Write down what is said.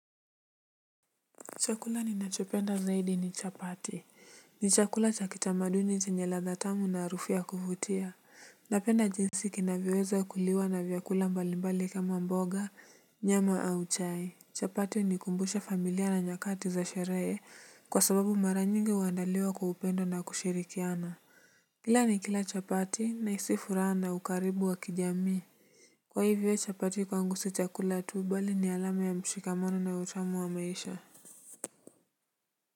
Chakula ninachopenda zaidi ni chapati. Ni chakula chakitamaduni chenye ladha tamu na harufu ya kuvutia. Napenda jinsi kinavyoweza kuliwa na vyakula mbalimbali kama mboga, nyama au chai. Chapati hunikumbusha familia na nyakati za sherehe kwa sababu mara nyingi huandaliwa kwa upendo na kushirikiana. Kila ni kila chapati na hisi furaha na ukaribu wa kijami. Kwa hivyo chapati kwangu si chakula tu bali ni alams ya mshikamano na utamu wa maisha.